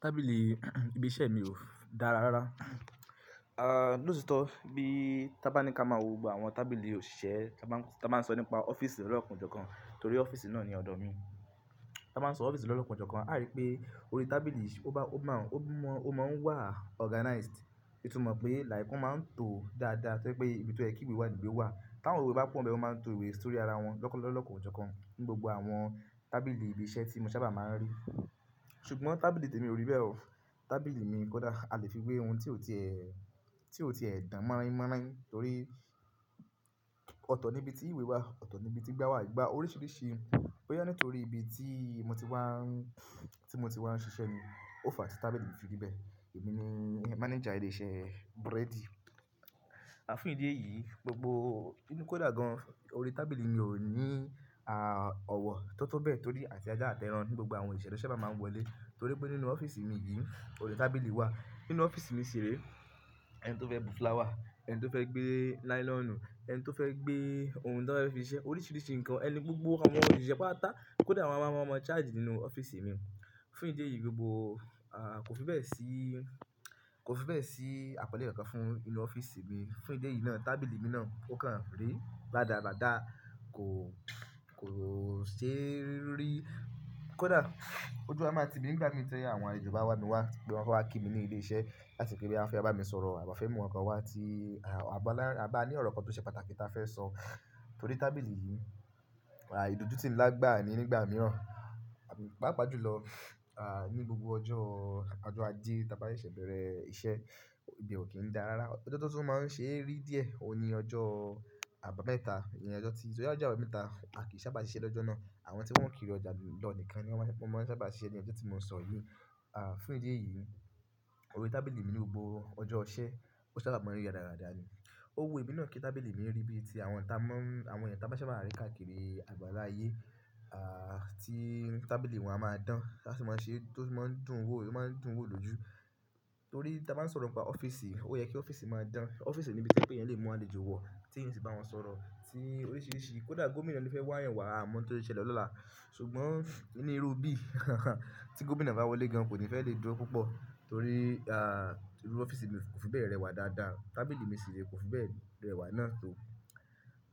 Tábìlì ibi iṣẹ́ mi ò dára rárá. Ah, lótitọ́ bí tá bá ní ká máa wo gbogbo àwọn tábìlì òṣìṣẹ́, tá bá ń sọ nípa ọ́fíìsì lọ́lọ́kan o jókan, torí ọ́fíìsì náà ni ọ̀dọ̀ mi. Tá bá ń sọ ọ́fíìsì lọ́lọ́kan o jókan, a rí pé orí tábìlì ó bá, ó máa ń, ó mọ, ó máa ń wà organized. Ó tún mọ̀ pé, láìpẹ́, ó máa ń tó dáadáa, tó je pé ibi tó ye kí ìwé wà níwe wà. Táwọn ìwé bá pọ̀ nbẹ́ẹ̀, wọ́n máa ń to ìwé sórí ara wọn lọ̀lokan o jókan, ní gbogbo àwọn tábìlì ibi iṣẹ́ tí mo sábà máa ń rí. Ṣùgbọ́n tábìlì tèmi ò rí bẹ́ẹ̀ o. Tábìlì mi kódà a lè fi wé ohun tí ó ti ẹ́, tí ó ti ẹ́ dán mọ́ráínmọ́ráín, torí ọ̀tọ̀ níbi tí ìwé wà, ọ̀tọ̀ níbi tí igba wà, igba oríṣiríṣi. Boya nítorí ibi tí mo ti wá ń, tí mo ti wá ń ṣiṣẹ́ ni. O fà tí tábìlì mi fi rí bẹ̀e. Èmi ni manager ilé-iṣẹ́ búrẹ́dì. Fún ídi eyìí, gbogbo, kí n kódà gan, orí tábìlì mi ò ní, ah, ọ̀wọ̀ tó tó bẹ́ẹ̀ torí àti ajá àti ẹran ní, gbogbo àwọn oṣìse ló sábà máa ń wọlé. Torí pé nínú ọ́fíìsì mi yìí, orí tábìlì wà. Nínú ọ́fíìsì mi ṣìrẹ́, ẹni tó fẹ́ bu flower, ẹni tó fẹ́ gbé nylonù, ẹni tó fẹ́ gbé ohun tó fẹ́ fi ṣiṣẹ́, oríṣiríṣi nǹkan ẹni gbogbo awon osiṣe pátapata. Kódà àwọn ọmọ-ọmọ charge nínú ọ́fíìsì mi. Fún ìdí èyí gbogbo, ah, kò fi bẹ́ẹ̀ sí, kò fi bẹ́ẹ̀ sí àpọ́nlé kan fún inú ọ́fíìsì mi. Fún ìdí yìí náà, tábìlì mi náà ò kàn rí rádaradáa. Kò, kò ṣe rí. Kódà ojú a máa ti mi ń gbá mi ti àwọn àlejọ bá wámi wá, bí wọ́n bá wá kí mi ní ilé iṣẹ́ láti kí n bí wọ́n fẹ́ bá mi sọ̀rọ̀ àb'on fẹ́ mú nǹkan wá tí, ah, à bá lá, a bá ní ọ̀rọ̀ kan tó ṣe pàtàkì táa fẹ́ sọ. Torí tábìlì yìí, ah, ìdójútì ńlá gbáa ni nígbà mìíràn. Páàpàá jùlọ, ah, ní gbogbo ọjọ́, ọjọ́ ajé tá bá seṣẹ bẹ̀rẹ̀ iṣẹ́, ibe ò kín dáa rárá. Ọjọ́ tó tún máa ń ṣe rí díẹ̀, òun ní ọjọ́ àbámẹ́ta nìyẹn. Ọjọ́ tí, torí ọjọ́ àbámẹ́ta, a kì í sábà ṣe iṣẹ́ lọ́jọ́ náà. Àwọn tí wọ́n kìrí ọjà lọ nìkan ni wọ́n sábà ṣe iṣẹ́ ní ọjọ́ tí mo ṣọ yìí. Ah, fún ìdí èyí, orí tábìlì mi ní gbogbo ọjọ́ iṣẹ́, ó sábà máa ń rí rádaráda ni. Ó wù ẹmí náà kí tábìlì mi rí bí i tí àwọn tá mọ́ ń, àwọn ẹyi tá máa n sábà rí káàkiri àgbàlá ayé, ah, tí tábìlì wọn a máa dán, láti máa ṣe, tó fi máa ń dùn wò, tó máa ń dùn wò lójú. Torí tá bá ń sọ̀rọ̀ nípa ọ́fíìsì, ó yẹ kí ọ́fíìsì máa dán. Ọ́fíìsì níbi tí o jepé ẹyan lè mú àlejò wọ̀, tí èyan o sì bá wọn sọ̀rọ̀ sí oríṣiríṣi. Kódà gómìnà le fẹ́ wá'yan wàá a mọ nǹkan tó le ṣele lọ́la. Ṣùgbọ́n inú irú bí, tí gómìnà bá wọlé gan, kò ní fẹ́ lè dúró púpọ̀. Torí, ah, inú ọ́fíìsì mi kò fi bẹ́ẹ̀ rẹwà dáadáa. Tábìlì mi ṣìrẹ́ kò fi bẹ́ẹ̀ rẹwà náà tó.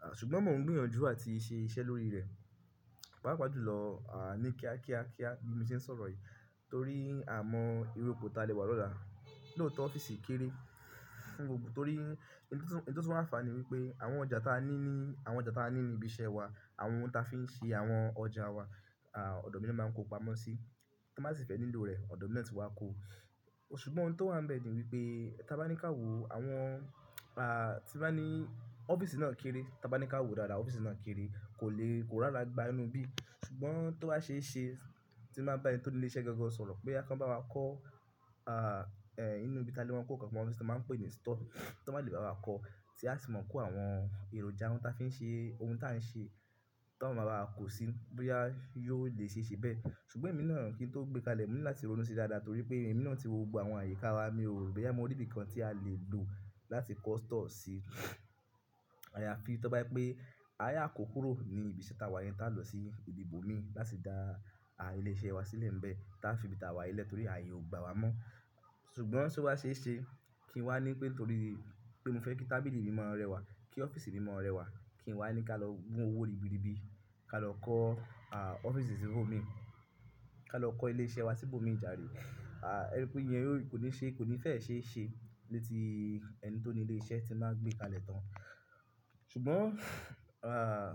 Ah, ṣùgbọ́n mò ń gbìyànjú àti ṣe iṣẹ́ lórí rẹ̀. Pàápàá jùlọ, ah, ní kíákíá kíá bí mo ṣe ń sọ̀rọ̀ yìí. Torí a mọ irú ipò ta lè wà lọ́la. Lóòtọ́ ọ́fíìsì kéré fún gbogbo torí ẹni tó, ènì tó tún anfàní wípé àwọn ọjà táa ní ní, àwọn ọjà táa ní ní ibi iṣẹ́ wa, àwọn ohun táa fi ń ṣe àwọn ọjà wa, ah, ọ̀dọ́ mì ná máa ń kó pamọ́ sí. Tan ba sì fẹ́ nílò rẹ̀, ọ̀dọ́ mì ná tí wá kó. Ṣùgbọ́n ohun tó wà ń bẹ ni wípé, tá bá ní ká wo àwọn, ah, tí bá ní ọ́fíìsì náà kéré, tá bá ní ká wo dáadáa ọ́fíìsì náà kéré, kò le, kò rára gba inu'bí. Ṣùgbọ́n tó bá ṣe é ṣe, tí n bà bá ẹni tó ni ilé iṣẹ́ gangan sọ̀rọ̀ boya kan bá wa kọ́, ah, eh, inú ibi táa lè wọ́n kó nǹkan pamọ́, tí wọ́n máa pè ní store, tí wọ́n bá lè bá wa kọ́, tí a sì máa ń kó àwọn èròjà ohun táa fi ń ṣe, ohun táa ń ṣe, táa máa bá wa kó sí, bóyá yóò lè ṣe é ṣe bẹ́ẹ̀. Ṣùgbọ́n èmi náà kí n tó gbé kalẹ̀, mo ní láti ronú sí dáadáa torí pé èmi náà ti wo gbogbo àwọn àyíká wa, mi ò rí ẹ, mo rí ibìkan tí a lè lò láti kọ́ store sí. Ayafi tọ́ba je pé, á yà kòkúrò ni ibi t'áwà yẹn tá lọ sí ibi ibòmí láti dá ah, ilé iṣẹ́ wa sílẹ̀ ń bẹ́ẹ̀. Tá fi ibi táwà ilẹ̀ torí ààyè ò gba wa mọ́. Ṣùgbọ́n tí ó bá ṣe é ṣe, kí n wá ní pé torí pé mo fẹ́ kí tábìlì mi máa rẹwà, kí ọ́fíìsì mi máa rẹwà, kí n wá ní ká lọ mu owó ribiribi, ká lọ kọ́ ah, ọ́fíìsì sí ibòmí, ká lọ kọ́ ilé iṣẹ́ wa sí ibòmí ìjàre. Ah, ẹ rí pé ìyẹn ò ní ṣe, kò ní fẹ́ ṣe é ṣe létí ẹni tó ni ilé iṣẹ́ tí n ba gbé kalẹ̀ tán. Ṣùgbọ́n, ah,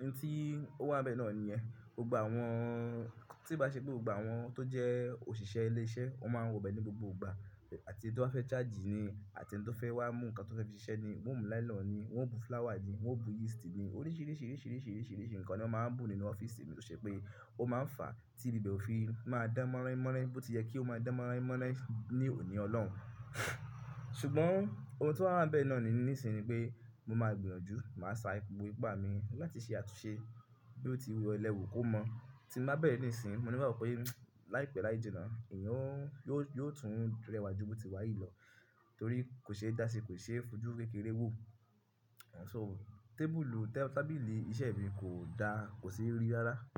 ohun tí ó wà ń bẹ náà niyẹn. Gbogbo àwọn, tí bá ṣe pé gbogbo àwọn tó jẹ́ òṣìṣẹ́ ilé iṣẹ́, wọ́n máa ń wọ bẹ ní gbogbo ìgbà. Àti ẹni tó ba fẹ́ charge ni, àti ẹni tó fẹ́ wá mú nǹkan tó fẹ́ fi ṣe ní, wọ́n mú nylon ni, wọ́n bu flower ni, wọ́n bu yeast ni. Oríṣiríṣi, oríṣiríṣi, oríṣiríṣi nǹkan ni wọ́n máa ń bu nínú ọ́fíìsì mi tó ṣe pé ó máa ń fà á tí ibi bẹ́ ò fi máa dán mọ́ráínmọ́ráín bó ti yẹ kí ó máa dán mọ́ráínmọ́ráín ní òní Ọlọ́un. Ṣùgbọ́n ohun tó wà wań bẹ náà nìsìnyí ni pé mo máa gbìyànjú, màá sa gbogbo ipá mi láti ṣe àtúnṣe bí ó ti wù lẹ́wu kó mọ́. Tí mo bá bẹ̀rẹ̀ níìsín, mo le woò pé láìpẹ́ láìjínna, eeyan ó, yóò tún rẹwà jù bó ti wà yìí lọ. Torí kò ṣe é dá sí, kò ṣe é fojú kékeré wò. So tábìlì iṣẹ́ mi kò dá,